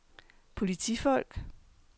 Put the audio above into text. politifolk